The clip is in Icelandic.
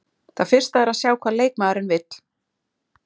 Það fyrsta er að sjá hvað leikmaðurinn vill.